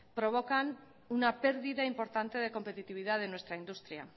provocan una pérdida importante de competitividad de nuestra industria